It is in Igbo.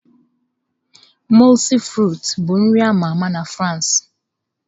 Mọulsị frịts bụ nri ama ama na France.